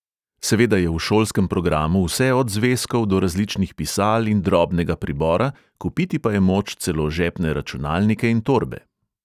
Seveda je v šolskem programu vse od zvezkov do različnih pisal in drobnega pribora, kupiti pa je moč celo žepne računalnike in torbe.